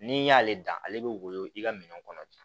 N'i y'ale dan ale bɛ woyo i ka minɛn kɔnɔ